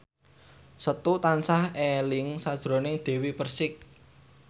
Setu tansah eling sakjroning Dewi Persik